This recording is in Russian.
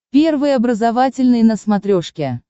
первый образовательный на смотрешке